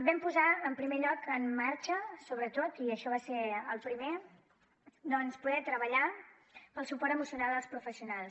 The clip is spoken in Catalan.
vam posar en primer lloc en marxa sobretot i això va ser el primer poder treballar pel suport emocional als professionals